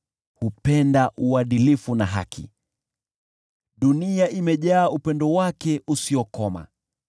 Bwana hupenda uadilifu na haki; dunia imejaa upendo wake usiokoma.